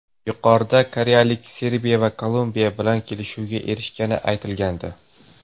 Yuqorida koreyaliklar Serbiya va Kolumbiya bilan kelishuvga erishgani aytilgandi.